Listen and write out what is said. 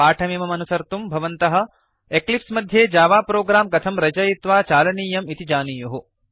पाठमिमम् अनुसर्तुं भवन्तः एक्लिप्स् मध्ये जावा प्रोग्राम् कथं रचयित्वा चालनीयं इति जानीयुः